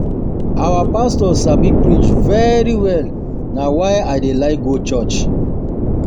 Our pastor sabi preach very well na why I dey like go church